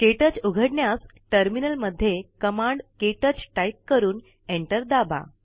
क्टच उघडण्यास टर्मीनल मध्ये कमांड के टच टाईप करून enter दाबा